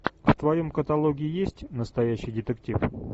в твоем каталоге есть настоящий детектив